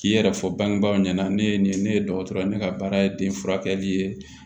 K'i yɛrɛ fɔ bangebaaw ɲɛna ne ye nin ye ne ye dɔgɔtɔrɔ ye ne ka baara ye den furakɛli ye